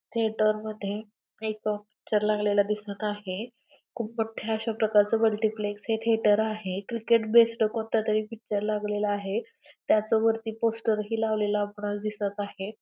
Theatre मध्ये एक picture लागलेला दिसत आहे खूप मोठे प्रकारच मल्टिप्लेक्स हे थेटर आहे क्रिकेट बेस्ड कोणता तरी पिक्चर लागलेला आहे त्याचे वरती पोस्टर ही लावलेल आपणाला दिसत आहे.